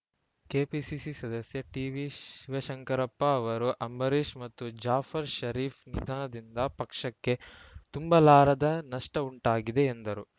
KPCC ಸದಸ್ಯ ಟಿವಿಶಿವಶಂಕರಪ್ಪ ಅವರು ಅಂಬರೀಶ್‌ ಮತ್ತು ಜಾಫರ್‌ ಷರೀಫ್‌ ನಿಧನದಿಂದ ಪಕ್ಷಕ್ಕೆ ತುಂಬಲಾರದ ನಷ್ಟಉಂಟಾಗಿದೆ ಎಂದರು